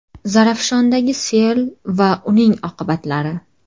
Zarafshondagi sel va uning oqibatlari.